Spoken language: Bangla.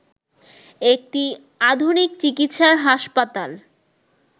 একটি আধুনিক চিকিৎসার হাসপাতাল